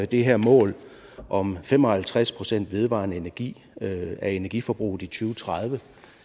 det her mål om fem og halvtreds procent vedvarende energi af energiforbruget i to tusind og tredive